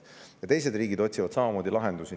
Teised riigid otsivad samamoodi lahendusi.